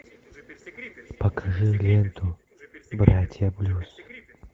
покажи ленту братья блюз